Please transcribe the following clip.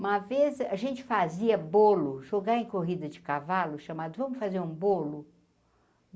Uma vez a gente fazia bolo, jogar em corrida de cavalo, chamado, vamos fazer um bolo?